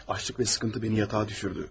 Açlıq və sıkıntı məni yatağa düşürdü.